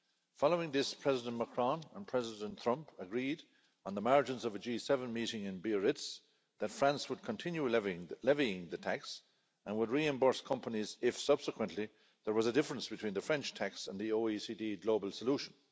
Following this, President Macron and President Trump agreed on the margins of a G7 meeting in Biarritz that France would continue levying the tax and would reimburse companies if subsequently there was a difference between the French tax and the OECD global solution.